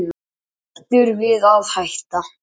Hættur við að hætta